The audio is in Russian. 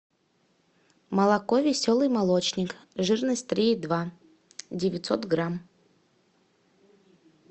молоко веселый молочник жирность три и два девятьсот грамм